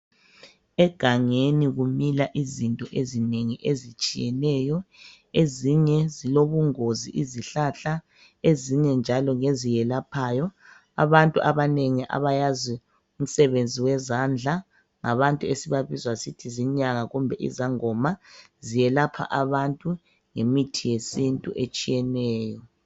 Egangeni kumila izinto ezinengi ezitshiyeneyo Ezinye zilobungozi izihlahla. Ezinye njalo ngeziyelaphayo .Abantu abanengi abayaziyo imisebenzi yezandla .Ngabantu esibabiza sithi zinyanga kumbe izangoma . Ziyelapha abantu ngemithi yesintu etshiyeneyo.